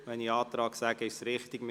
Wenn ich Antrag sage, ist es richtig.